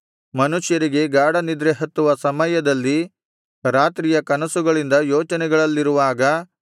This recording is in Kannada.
ಮನುಷ್ಯರಿಗೆ ಗಾಢನಿದ್ರೆ ಹತ್ತುವ ಸಮಯದಲ್ಲಿ ರಾತ್ರಿಯ ಕನಸುಗಳಿಂದ ಯೋಚನೆಗಳಲ್ಲಿರುವಾಗ